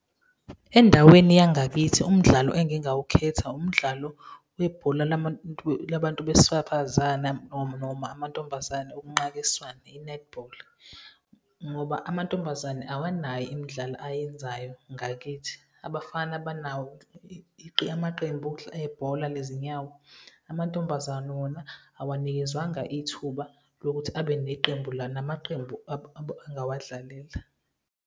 Endaweni yangakithi umdlalo engingawukhetha umdlalo webhola labantu besaphazana noma amantombazane okunqakiswano, i-netball, ngoba amantombazane awanayo imidlalo ayenzayo ngakithi. Abafana banawo amaqembu ebhola lezinyawo, amantombazane wona awanikezwanga ithuba lokuthi abe namaqembu engawadlalela.